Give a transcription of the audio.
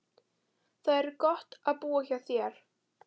Það var gott að búa hjá þér.